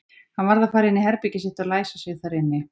Hann varð að fara inn í herbergið sitt og læsa sig þar inni.